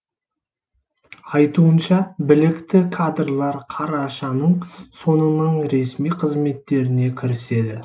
айтуынша білікті кадрлар қарашаның соңынан ресми қызметтеріне кіріседі